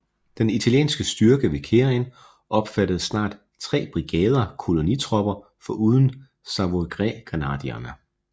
Den italienske styrke ved Keren omfattede snart tre brigader kolonitropper foruden Savoygrenadererne